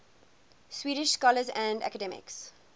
swedish scholars and academics